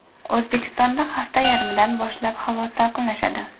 O‘zbekistonda hafta yarmidan boshlab havo salqinlashadi.